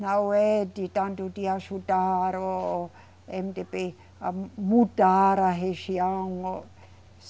Não é de tanto de ajudar o Emedêbê a mudar a região o.